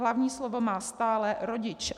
Hlavní slovo má stále rodič.